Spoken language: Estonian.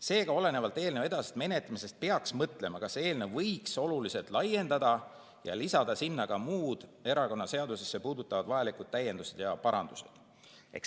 Seega, olenevalt eelnõu edasisest menetlemisest peaks mõtlema, kas seda eelnõu võiks oluliselt laiendada ja lisada sinna ka muid erakonnaseadust puudutavaid täiendusi ja parandusi.